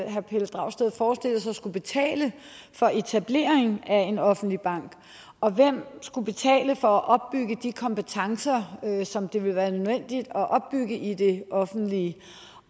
dragsted forestillet sig skulle betale for etableringen af en offentlig bank og hvem skulle betale for at opbygge de kompetencer som det ville være nødvendigt at opbygge i det offentlige